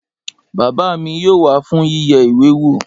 Bàbá mi yóò wá fún yíyẹ ìwé wò